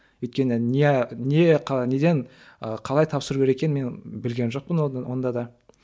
өйткені не не неден ы қалай тапсыру керек екенін мен білген жоқпын онда да